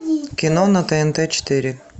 кино на тнт четыре